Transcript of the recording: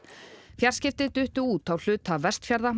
fjarskipti duttu út á hluta Vestfjarða